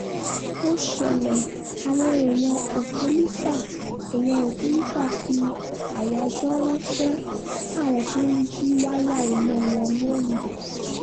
ó ṣẹlẹ̀ àwọn èèyàn òkèlísà èèyàn òkèlísà fi àyájọ́ ránṣẹ́ sáwọn tó ń jí wáyà iná wọn londo